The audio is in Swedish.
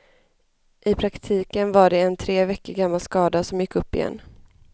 I praktiken var det en tre veckor gammal skada som gick upp igen.